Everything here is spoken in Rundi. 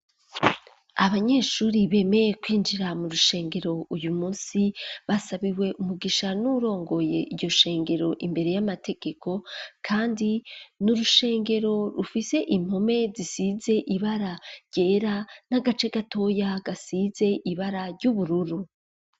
Abanyeshuri bemeye kwinjira mu rushengero uyu munsi basabiwe umugisha nuwurongoye iyo shengero imbere y'amategeko kandi n'urushengero rufise impome zisize ibara ryera n'agace gatoya gasize ibara ry'ubururu